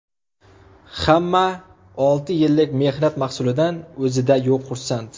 Hamma olti yillik mehnat mahsulidan o‘zida yo‘q xursand.